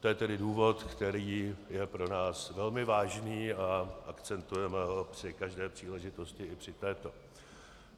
To je tedy důvod, který je pro nás velmi vážný a akcentujeme ho při každé příležitosti, i při této.